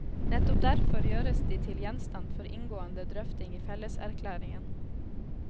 Nettopp derfor gjøres de til gjenstand for inngående drøfting i felleserklæringen.